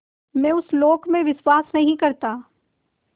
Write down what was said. मैं उस लोक में विश्वास नहीं करता